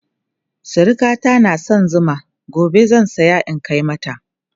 sirikata na da San Zuma gobe zan saya in Kai mata